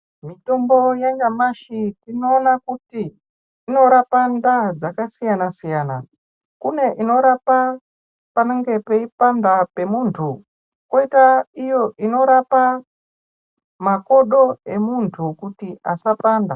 Mitombo yanyamashi tinoona kuti inorapa ndaa dzakasiyana-siyana. Kune inorapa panenge peipanda pemuntu, kwoita iyo inorapa makodo emuntu kuti asapanda.